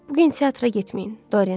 Bu gün teatra getməyin, Doryan.